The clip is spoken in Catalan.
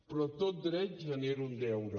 però tot dret genera un deure